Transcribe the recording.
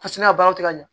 Paseke ka baaraw tɛ ka ɲɛ